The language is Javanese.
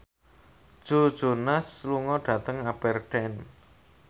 Joe Jonas lunga dhateng Aberdeen